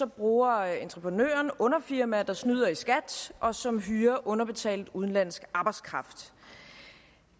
bruger entreprenøren underfirmaer der snyder i skat og som hyrer underbetalt udenlandsk arbejdskraft